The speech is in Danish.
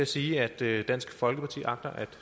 sige at dansk folkeparti agter at